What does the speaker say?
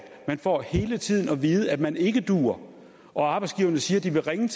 man får hele tiden at vide at man ikke duer og arbejdsgiverne siger at de vil ringe